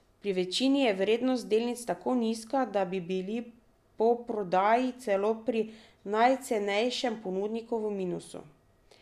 Pri večini je vrednost delnic tako nizka, da bi bili po prodaji celo pri najcenejšem ponudniku v minusu.